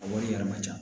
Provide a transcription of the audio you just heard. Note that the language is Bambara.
A wari yɛrɛ man ca